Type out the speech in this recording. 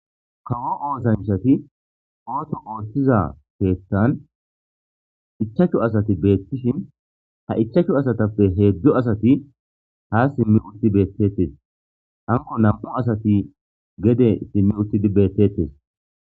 kawo oosanchati ooto ooththiza peettan ichachu asati beettishin ha ichachu asatappe heedzdzu asati ha simmi utti beettettes hanko nam7u asati gede simmi uttidi beettetes